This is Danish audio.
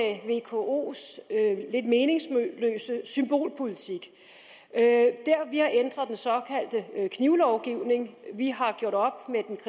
vkos lidt meningsløse symbolpolitik vi har ændret den såkaldte knivlovgivning vi har gjort op